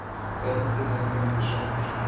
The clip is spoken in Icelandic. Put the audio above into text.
veldið nefndi hann eftir sjálfum sér